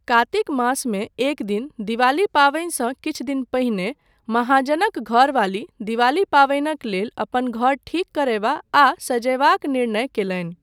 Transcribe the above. कार्तिक मासमे एक दिन, दिवाली पावनिसँ किछु दिन पहिने, महाजनक घरवाली दिवाली पावनिक लेल अपन घर ठीक करयबा आ सजयबाक निर्णय कयलनि।